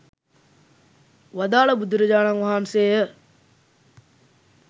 වදාළ බුදුරජාණන් වහන්සේ ය